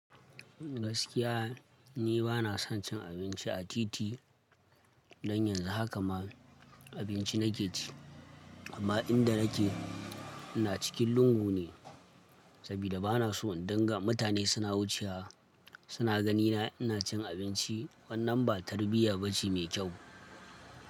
Gaskiya ni bana son cin abinci a titi, dan yanzu haka ma abinci nake ci, amma inda nake ina cikin lungu ne, sabida bana so in danga mutane suna wucewa suna ganina ina cin abinci, wannan ba tarbiyya bace mai kyau.